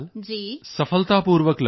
ਸਫਲਤਾਪੂਰਵਕ ਲੜਨ ਦੇ ਲਈ